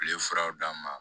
U ye furaw d'a ma